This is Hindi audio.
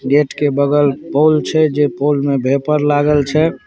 गेट के बगल पोल छै जे पोल में वेपर लागल छै।